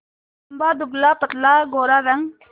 लंबा दुबलापतला गोरा रंग